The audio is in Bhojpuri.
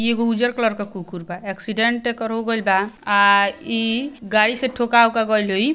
इ एगो उज्जर कलर के कुकुर बा एक्सीडेंट एकर हो गईल बा आ आ इ गाड़ी से ठोका ऊका गईल होई।